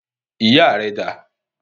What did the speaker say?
Ìyá rẹ dà?